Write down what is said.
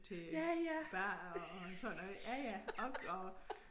Til barer og sådan noget ja ja ok og